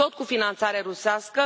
Tot cu finanțare rusească.